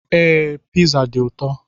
Ee, Pizza dị ụtọ.